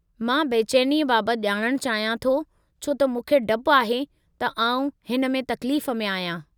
मां बेचैनीअ बाबति ॼाणणु चाहियां थो छो त मूंखे डपु आहे त आउं हिन में तकलीफ़ में आहियां।